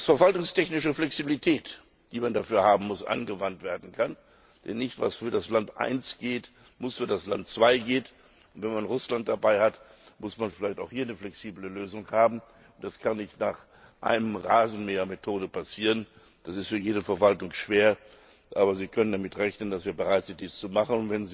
Dass verwaltungstechnische Flexibilität, die man dafür haben muss, angewandt werden kann denn was für das Land 1 gilt, muss nicht für das Land 2 gelten, und wenn man Russland dabei hat, muss man vielleicht auch hier eine flexible Lösung haben, das kann nicht nach der Rasenmähermethode passieren ist für jede Verwaltung schwer. Aber Sie können damit rechnen, dass wir bereit sind, das zu machen.